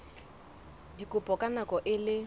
dikopo ka nako e le